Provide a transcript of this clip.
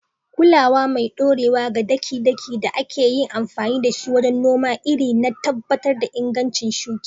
kulawa mai ɗorewa ga daki-daki da aka yi amfani da shi wajen noman iri don tabbatar da inganci shuki